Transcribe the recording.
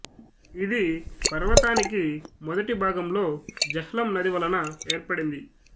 ఇది పర్వతానికి మొదటి భాగంలో జెహ్లం నది వలన ఏర్పడింది